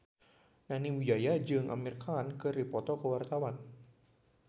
Nani Wijaya jeung Amir Khan keur dipoto ku wartawan